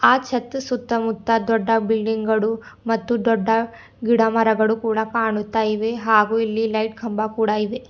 ಆ ಚತ್ ಸುತ್ತಮುತ್ತ ದೊಡ್ಡ ಬಿಲ್ಡಿಂಗ್ ಗಳು ಮತ್ತು ದೊಡ್ಡ ಗಿಡಮರಗಳು ಕೂಡ ಕಾಣುತ್ತ ಇವೆ ಹಾಗು ಇಲ್ಲಿ ಲೈಟ್ ಕಂಬ ಕೂಡ ಇವೆ.